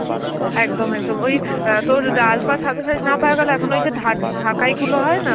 একদম একদম, ওই আঁ তোর লাল পাড় সাদা শাড়ি না পাওয়া গালে এখন ওই যে ঢাক~ ঢাকাই গুলো হয় না,